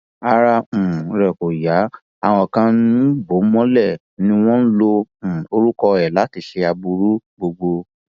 ara um rẹ kò yá àwọn kan ń bò ó mọlẹ ni wọn ń lo um orúkọ ẹ láti ṣe aburú gbogbo